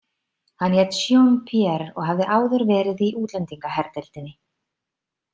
Hann hét Jean- Pierre og hafði áður verið í útlendingaherdeildinni.